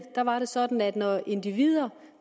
var det sådan at når individer